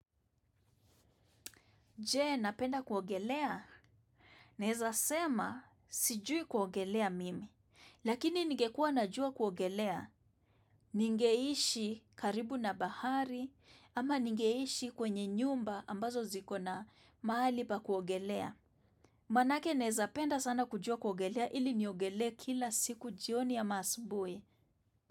Je, napenda kuogelea? Naweza sema sijui kuogelea mimi. Lakini ningekua najua kuogelea. Ningeishi karibu na bahari ama ningeishi kwenye nyumba ambazo zikona mahali pa kuogelea. Manake naweza penda sana kujua kuogelea ili niogelee kila siku jioni ama asubuhi.